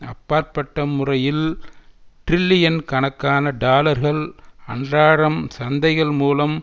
அப்பாற்பட்ட முறையில் டிரில்லியன் கணக்கான டாலர்கள் அன்றாடம் சந்தைகள் மூலம்